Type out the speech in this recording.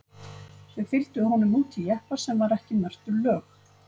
Þau fylgdu honum út í jeppa sem var ekki merktur lög